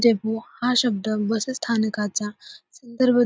depot हा शब्द bus स्थानकाचा सुंदर